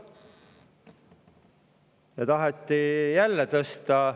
Nüüd taheti jälle tõsta.